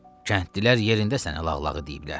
Kəndlilər yerində sənə lağlağı deyiblər.